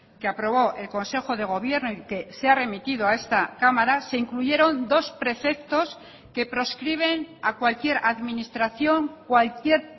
que aprobó el consejo de gobierno y que se ha remitido a esta cámara se incluyeron dos preceptos que proscriben a cualquier administración cualquier